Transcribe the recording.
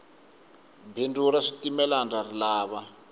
bindzu ra switimela ndza rilava